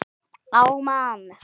Á mann.